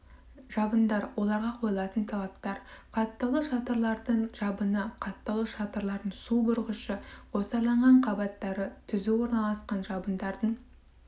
жабындар оларға қойылатын талаптар қаттаулы шатырлардың жабыны қаттаулы шатырлардың су бұрғышы қосарланған қабаттары түзу орналасқан жабындардың